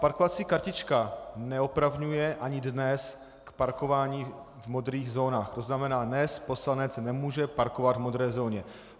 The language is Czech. Parkovací kartička neopravňuje ani dnes k parkování v modrých zónách, to znamená, dnes poslanec nemůže parkovat v modré zóně.